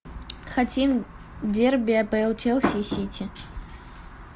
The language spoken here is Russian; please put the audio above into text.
хотим дерби апл челси и сити